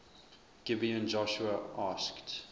gibeon joshua asked